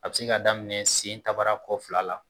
A bi se ka daminɛ sen tarakɔ fila la.